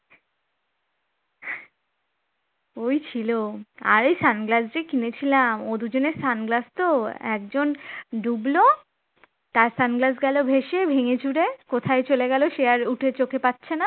আরে sunglass কিনে কিনেছিলাম ওই দুদিনের sunglass তো একজন ডুবল তার sunglass গেল ভেসে ভেঙেচুরে কোথায় চলে গেল সে আর উঠে চোখে পাচ্ছে না